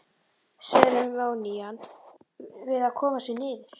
Seremónían við að koma sér niður.